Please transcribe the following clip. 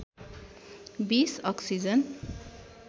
२० oxygen